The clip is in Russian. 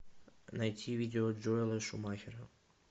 найти видео джоэла шумахера